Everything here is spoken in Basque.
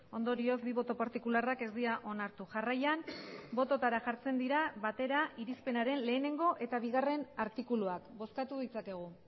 ondorioz bi boto partikularrak ez dira onartu jarraian bototara jartzen dira batera irizpenaren batgarrena eta bigarrena artikuluak bozkatu ditzakegu